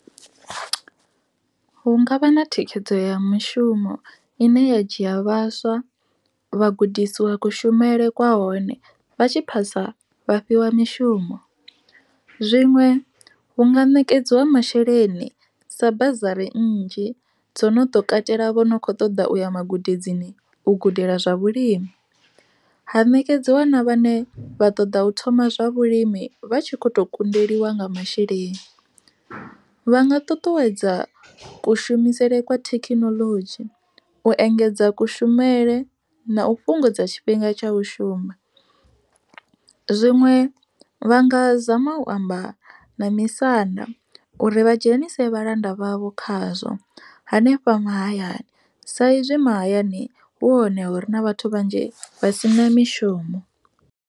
Hu ngavha na thikhedzo ya mishumo ine ya dzhia vhaswa vha gudisiwa kushumele kwa hone, vha tshi phasa vha fhiwa mishumo. Zwiṅwe hu nga ṋekedziwa masheleni sa bazari nnzhi dzo no ḓo katela vho no kho ṱoḓa uya magudedzini u gudela zwa vhulimi, ha ṋekedziwa na vhane vha ṱoḓa u thoma zwa vhulimi vha tshi kho to kundeliwa nga masheleni. Vha nga ṱuṱuwedza kushumisele kwa thekinoḽodzhi, u engedza kushumele na u fhungudza tshifhinga tsha u shuma. Zwiṅwe vha nga zama u amba na misanda uri vha dzhenise vhalanda vhavho khazwo, hanefha mahayani sa izwi mahayani hu hone hure na vhathu vhanzhi vha si na mishumo.